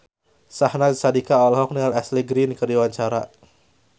Syahnaz Sadiqah olohok ningali Ashley Greene keur diwawancara